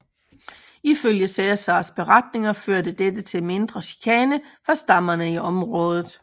Ifølge Cæsars beretninger førte dette til mindre chikane fra stammerne i området